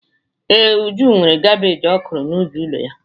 Ee, Uju nwere kabeeji ọ kụrụ n’ubi ụlọ ya